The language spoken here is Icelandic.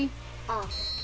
a